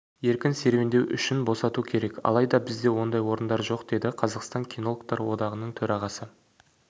еркін серуендеу үшін босату керек алайда бізде ондай орындар жоқ деді қазақстан кинологтар одағының төрағасы